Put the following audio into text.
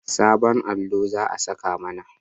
Sabon allo za a saka mana